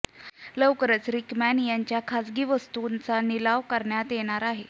लवकरच रिकमॅन यांच्या खासगी वस्तूंचा लिलाव करण्यात येणार आहे